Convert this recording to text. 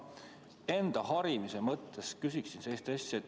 Ma enda harimise mõttes küsin sellist asja.